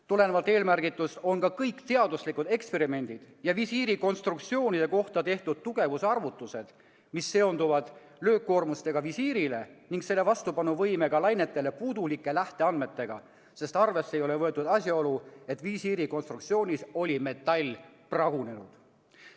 Tulenevalt eelmärgitust on ka kõik teaduslikud eksperimendid ja visiirikonstruktsioonide kohta tehtud tugevusarvutused, mis seonduvad löökkoormusega visiirile ja selle vastupanuvõimega lainetele, puudulike lähteandmetega, sest arvesse ei ole võetud asjaolu, et visiiri konstruktsioonis oli metall pragunenud.